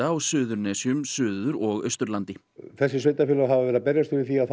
á Suðurnesjum Suður og Austurlandi þessi sveitarfélög hafa verið að berjast fyrir því að